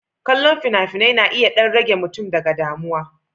Kallon fina-finai na iya ɗan ɗan rage mutum daga damuwa.